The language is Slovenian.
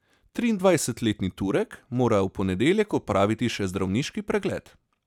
Triindvajsetletni Turek mora v ponedeljek opraviti še zdravniški pregled.